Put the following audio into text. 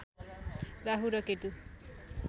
राहु र केतुको